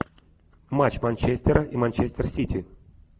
матч манчестера и манчестер сити